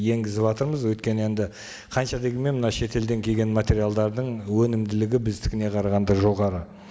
енгізіватырмыз өйткені енді қанша дегенмен мына шетелден келген материалдардың өнімділігі біздікіне қарағанда жоғары